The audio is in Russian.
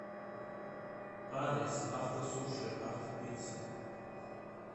адрес автосуши автопицца